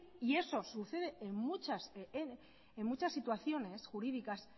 y eso sucede en muchas situaciones jurídicas